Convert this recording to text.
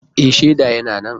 E, shaida yana nan.